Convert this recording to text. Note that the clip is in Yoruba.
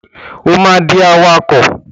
O ma dì awakọ̀!